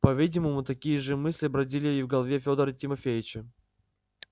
по-видимому такие же мысли бродили и в голове федора тимофеича